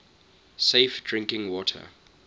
safe drinking water